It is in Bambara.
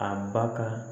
A ba ka